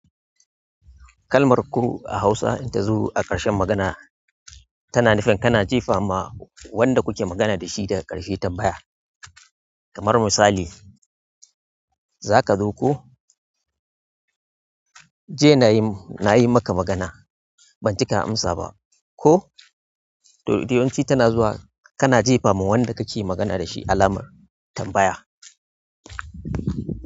Kalmar "ko" a hausa in ta zo a ƙarshen magana tana nufin kana jefa ma wanda kuke magana dashi daga ƙarshe tambaya kamar misali, "Za ka zo ko?" "Jiya na yi, na yi maka magana ban ji ka amsa ba." Ko to duk yawanci tana zuwa, kana jefa ma wanda ka ke magana da shi alamar tambaya.